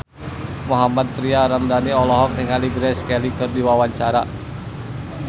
Mohammad Tria Ramadhani olohok ningali Grace Kelly keur diwawancara